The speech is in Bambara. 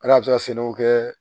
Ali a bɛ se ka sɛnɛw kɛ